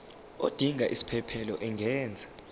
odinga isiphesphelo angenza